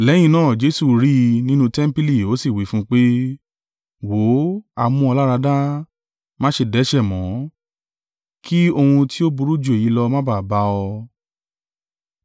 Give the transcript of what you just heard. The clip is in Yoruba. Lẹ́yìn náà, Jesu rí i nínú tẹmpili ó sì wí fún un pé, “Wò ó, a mú ọ láradá: má ṣe dẹ́ṣẹ̀ mọ́, kí ohun tí ó burú ju èyí lọ má ba à bá ọ!”